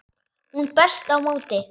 Hún berst á móti.